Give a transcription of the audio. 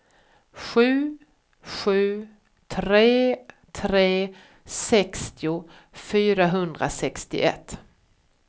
sju sju tre tre sextio fyrahundrasextioett